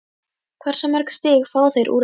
Hversu mörg stig fá þeir úr þessu?